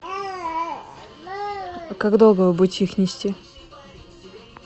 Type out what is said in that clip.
как долго вы будете их нести